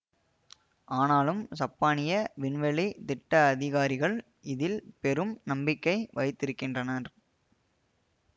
ஆனாலும் சப்பானிய விண்வெளி திட்ட அதிகாரிகள் இதில் பெரும் நம்பிக்கை வைத்திருக்கின்றனர்